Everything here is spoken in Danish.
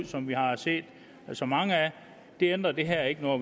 som vi har set så mange af det ændrer det her ikke ved og